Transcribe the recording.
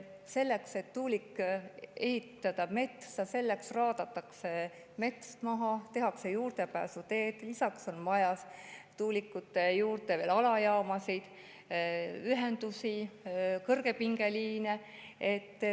Selleks, et tuulik ehitada metsa, mets raadatakse, tehakse juurdepääsuteed, lisaks on vaja tuulikute juurde alajaamasid, ühendusi, kõrgepingeliine.